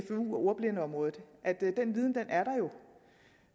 og ordblindeområdet den viden er der jo